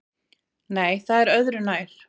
Nei, það er öðru nær!